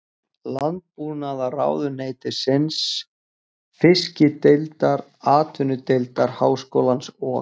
Landbúnaðarráðuneytisins, Fiskideildar Atvinnudeildar Háskólans og